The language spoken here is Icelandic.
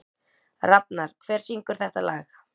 Rafnar, hver syngur þetta lag?